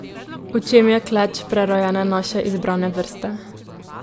V čem je kleč prerojene naše izbrane vrste?